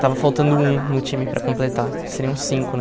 Estava faltando um no time para completar, que seriam cinco, né?